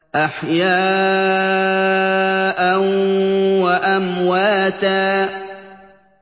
أَحْيَاءً وَأَمْوَاتًا